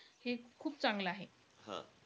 हे खूप चांगलं आहे.